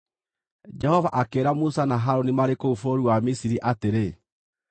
Jehova akĩĩra Musa na Harũni marĩ kũu bũrũri wa Misiri atĩrĩ,